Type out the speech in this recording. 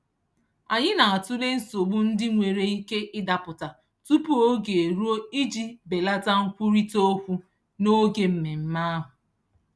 Anyị na-atụle nsogbu ndị nwere ike Ịdapụta tupu oge eruo iji belata nkwurịtaokwu n'oge mmemme ahụ.